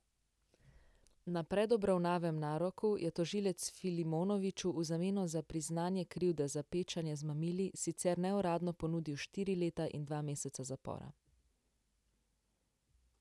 Na predobravnavnem naroku je tožilec Filimonoviću v zameno za priznanje krivde za pečanje z mamili sicer neuradno ponudil štiri leta in dva meseca zapora.